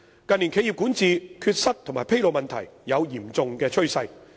近年，企業管治缺失及披露問題有嚴重趨勢。